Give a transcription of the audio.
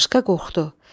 Qarışqa qorxdu.